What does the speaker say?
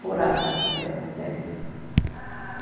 Por água, é, sempre. Ah